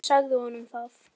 Ég sagði honum það.